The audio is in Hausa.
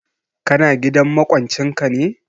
Ka na gidan maƙwancin ka ne?